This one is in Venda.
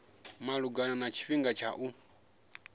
malugana na tshifhinga tsha u